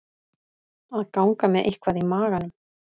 Að ganga með eitthvað í maganum